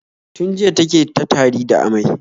Tun jiya ta ke ta tari da amai.